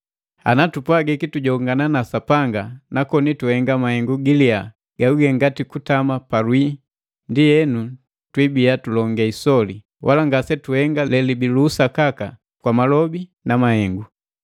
Ana tupwagiki tujongana na Sapanga na koni tuhenga mahengu giliya gaguge ngati kutama palwii, ndienu twibiya tulonge isoli wala ngasetuhenga lelibii lu usakaka kwa malobi na mahengu.